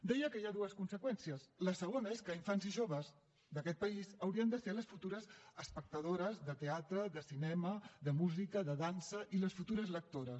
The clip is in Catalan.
deia que hi ha dues conseqüències la segona és que infants i joves d’aquest país haurien de ser les futures espectadores de teatre de cinema de música de dansa i les futures lectores